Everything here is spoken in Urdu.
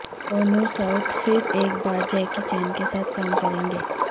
سونو سود پھر ایک بار جیکی چین کے ساتھ کام کریں گے